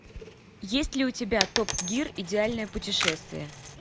есть ли у тебя топ гир идеальное путешествие